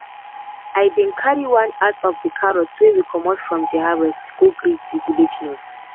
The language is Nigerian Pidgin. i bin carry one at of carrots wey comot from de harvest to go greet de village nurse.